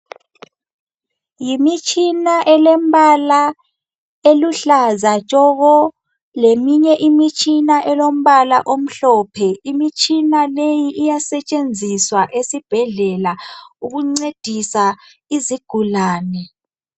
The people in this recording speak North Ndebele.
Yimitshina elembala eluhlaza tshoko, leminye imitshina elombala omhlophe. Imtshina leyi iyasetshenziswa esibhedlela ukuncedisa izigulane.